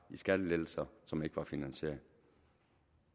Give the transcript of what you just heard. i skattelettelser som ikke var finansierede